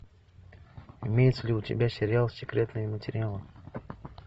имеется ли у тебя сериал секретные материалы